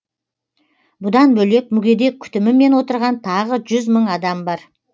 бұдан бөлек мүгедек күтімімен отырған тағы жүз мың адам бар